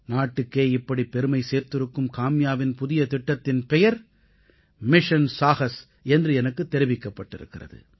நாட்டுக்கே இப்படி பெருமை சேர்த்திருக்கும் காம்யாவின் புதிய திட்டத்தின் பெயர் மிஷன் சாஹஸ் என்று எனக்குத் தெரிவிக்கப்பட்டிருக்கிறது